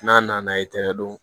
N'a nana i tɛgɛ don